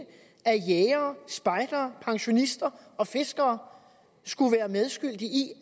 jægere spejdere pensionister og fiskere skulle være medskyldige i